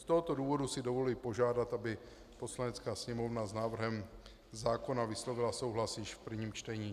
Z tohoto důvodu si dovoluji požádat, aby Poslanecká sněmovna s návrhem zákona vyslovila souhlas již v prvním čtení.